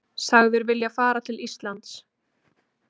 Sagður vilja fara til Íslands